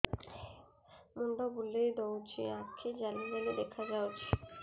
ମୁଣ୍ଡ ବୁଲେଇ ଦଉଚି ଆଖି ଜାଲି ଜାଲି ଦେଖା ଯାଉଚି